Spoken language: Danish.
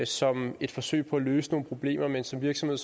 som et forsøg på at løse nogle problemer men som virksomhed